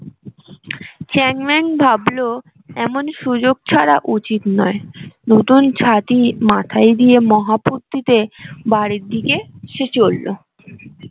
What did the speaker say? চ্যাং man ভাবলো এমন সুযোগ ছাড়া উচিত নয় নতুন ছাতি মাথায় দিয়ে মহা ফুর্তিতে বাড়ির দিকে সে চললো